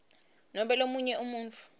nobe lomunye umuntfu